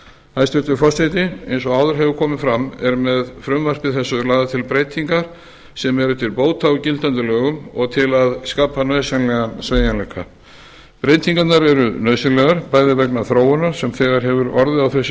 hæstvirtur forseti eins og áður hefur komið fram eru með frumvarpi þessu lagðar til breytingar sem eru til bóta á gildandi lögum og til að skapa nauðsynlegan sveigjanleika breytingarnar eru nauðsynlegar bæði vegna þróunar sem þegar hefur orðið á þessu